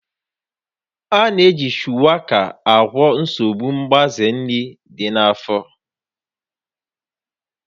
A na-eji Shuwaka agwọ nsogbu mgbaze nri dị na-afọ